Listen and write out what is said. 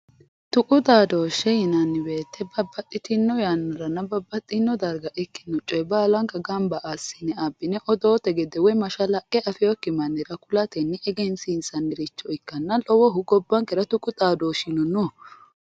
Tuqu xaadoshe yinanni woyte babbaxxitino yannaranna babbaxxitino darga ikkino coye baallanka gamba assine abbine woyi odoote gede woyi mashalaqqe afinokki mannira ku'lateni egensiissaniricho ikkanna lowohu gobbankera tuqu xaadoshi no.